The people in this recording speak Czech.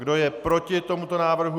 Kdo je proti tomuto návrhu?